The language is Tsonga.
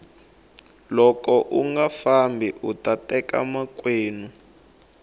loko unga fambi uta teka makwenu